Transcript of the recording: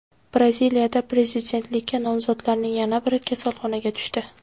Braziliyada prezidentlikka nomzodlarning yana biri kasalxonaga tushdi.